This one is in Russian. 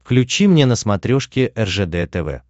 включи мне на смотрешке ржд тв